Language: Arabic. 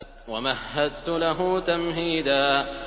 وَمَهَّدتُّ لَهُ تَمْهِيدًا